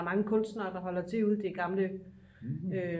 der er mange kunstnere der holder til ude i det gamle